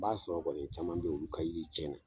N b'a sɔrɔ kɔni caman be yen, olu ka yiri tiɲɛ na.